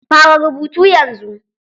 Fara rubutu yanzu!